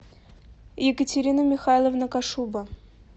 екатерина михайловна кошуба